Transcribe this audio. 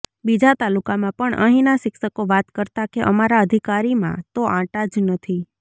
બીજા તાલુકામાં પણ અહીના શિક્ષકો વાત કરતા કે અમારા અધિકારીમાં તો આંટા જ નથી